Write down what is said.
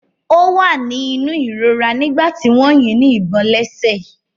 Ó wà ní inú ìrora nígbà tí wọ́n yín ní ìbọn lẹ́sẹ̀.